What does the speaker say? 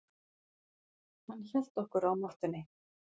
Hann hélt okkur á mottunni.